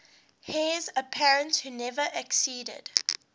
heirs apparent who never acceded